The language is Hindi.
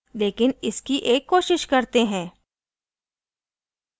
लेकिन इसकी एक कोशिश करते हैं